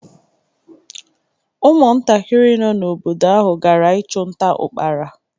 Ụmụntakịrị nọ n’obodo ahụ gara ichu nta ukpara.